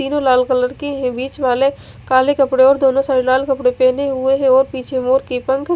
तीनों लाल कलर के हैं बीच वाले काले कपड़े और दोनों साइड लाल कपड़े पहने हुए हैं और पीछे मोर के पंख--